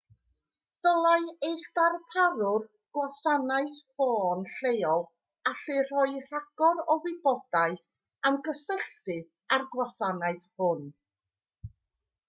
dylai eich darparwr gwasanaeth ffôn lleol allu rhoi rhagor o wybodaeth am gysylltu â'r gwasanaeth hwn